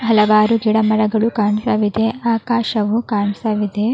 ಹಲವಾರು ಗಿಡ ಮರಗಳು ಕಾಣ್ತಾ ಇದೆ ಆಕಾಶವು ಕಾಣ್ತಾ ಇದೆ.